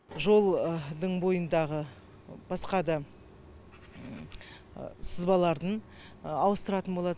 жолдың бойындағы басқа да сызбалардың ауыстыратын болады